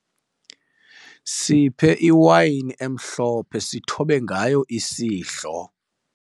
Siphe iwayini emhlophe sithobe ngayo isidlo.